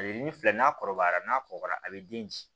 A ye nin filɛ n'a kɔrɔbayara n'a kɔgɔra a bɛ den